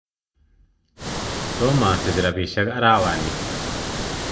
Tomo osich rapishek arawani